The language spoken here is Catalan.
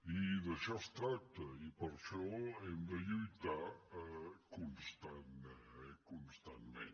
i d’això es tracta i per això hem de lluitar constantment